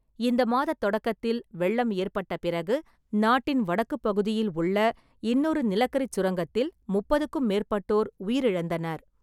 இந்த மாதத் தொடக்கத்தில், வெள்ளம் ஏற்பட்ட பிறகு நாட்டின் வடக்குப் பகுதியில் உள்ள இன்னொரு நிலக்கரிச் சுரங்கத்தில் முப்பதுக்கும் மேற்பட்டோர் உயிரிழந்தனர்.